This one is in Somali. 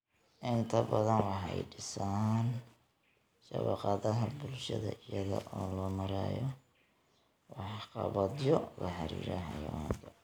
inta badan waxay dhisaan shabakadaha bulshada iyada oo loo marayo waxqabadyo la xiriira Xayawaanka.